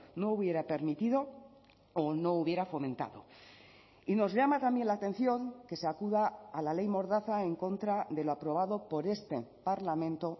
no hubiera permitido o no hubiera fomentado y nos llama también la atención que se acuda a la ley mordaza en contra de lo aprobado por este parlamento